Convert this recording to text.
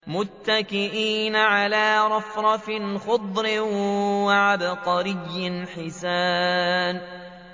مُتَّكِئِينَ عَلَىٰ رَفْرَفٍ خُضْرٍ وَعَبْقَرِيٍّ حِسَانٍ